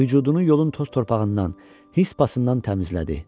Vücudunu yolun toz torpağından, his pasından təmizlədi.